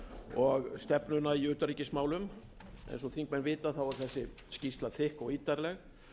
og stefnuna í utanríkismálum eins og þingmenn vita er þessi skýrsla þykk og ítarleg